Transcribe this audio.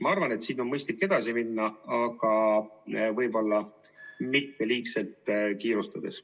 Ma arvan, et siin on mõistlik edasi minna, aga mitte liigselt kiirustades.